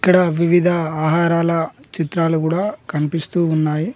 ఇక్కడ వివిధ ఆహారాల చిత్రాలు కూడా కనిపిస్తూ ఉన్నాయి.